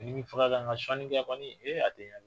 Ni m'i faga ka n ka sɔni kɛ kɔni, ee a tɛ yan!